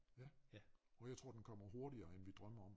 Ja og jeg tror den kommer hurtigere end vi drømmer om